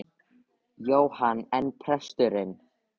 Jóhann: En presturinn?